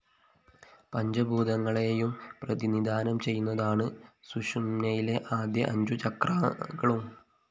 പഞ്ചഭൂതങ്ങളെയും പ്രതിനിധാനം ചെയ്യുന്നതാണ് സുഷുമ്‌നയിലെ ആദ്യ അഞ്ചു ചക്രാകളും